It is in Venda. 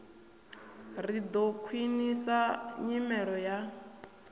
ri ḓo khwiṋisa nyimelo ya